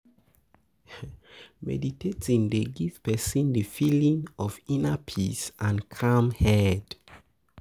Meditating dey give person di feeling of inner peace and calm head